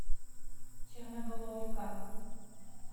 черноголовка